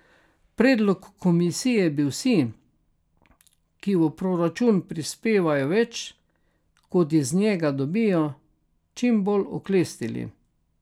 Predlog komisije bi vsi, ki v proračun prispevajo več, kot iz njega dobijo, čim bolj oklestili.